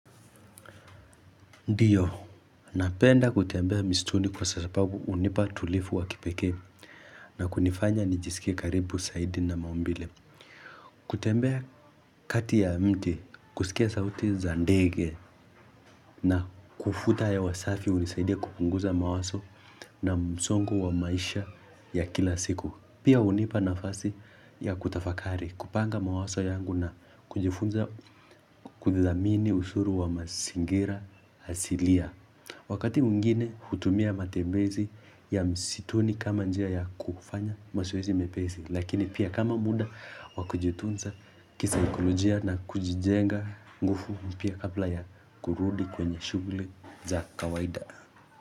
Ndiyo, napenda kutembea mistuni kwa sasa pabu unipa tulifu wa kipeke na kunifanya nijisikia karibu saidi na maumbile. Kutembea kati ya mti, kusikia sauti za ndege na kufuta hewasafi unisaidia kupunguza mawaso na msongo wa maisha ya kila siku. Pia unipa nafasi ya kutafakari, kupanga mawaso yangu na kujifunza kudhamini ushuru wa masingira asilia. Wakati mwingine hutumia matembezi ya msituni kama njia ya kufanya masoezi mepesi, lakini pia kama muda wakujutunza kisaikolojia na kujijenga ngufu mpya kapla ya kurudi kwenye shugli za kawaida.